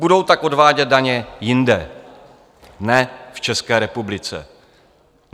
Budou tak odvádět daně jinde, ne v České republice.